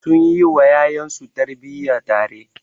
Sun yi wa ƴaƴansu tarbiyya tare.